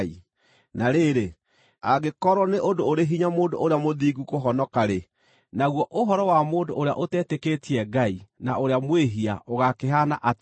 Na rĩrĩ, “Angĩkorwo nĩ ũndũ ũrĩ hinya mũndũ ũrĩa mũthingu kũhonoka-rĩ, naguo ũhoro wa mũndũ ũrĩa ũtetĩkĩtie Ngai na ũrĩa mwĩhia ũgaakĩhaana atĩa?”